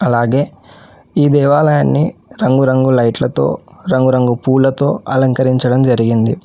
అలాగే ఈ దేవాలయాన్ని రంగురంగు లైట్లతో రంగురంగు పూలతో అలంకరించడం జరిగింది.